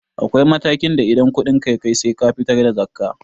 Akwai matakin da in kuɗinka ya kai sai ka fitar da zakkah